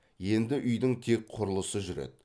енді үйдің тек құрылысы жүреді